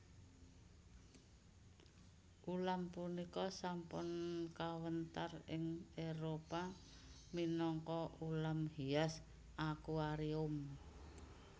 Ulam punika sampun kawéntar ing Éropah minangka ulam hias akuarium